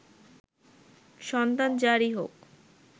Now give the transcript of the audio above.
সন্তান যারই হোক